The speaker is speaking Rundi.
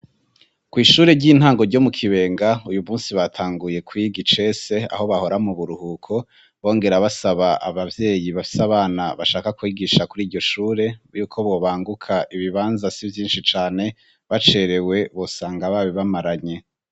Ku ishure ry'intango ryo mu kibenga uyu munsi batanguye kuiga icese aho bahora mo buruhuko bongera basaba ababyeyi bafise abana bashaka kwigisha kuri iryo shure yuko bobanguka ibibanza si byinshi cane bacerewe bosanga babi bamaranye.